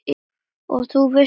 Og þú vissir það.